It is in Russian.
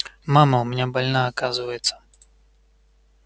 мама у меня больна оказывается